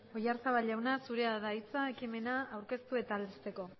oyarzabal jauna zurea da hitza ekimena aurkeztu eta aldezteko